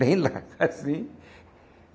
Bem lá, assim.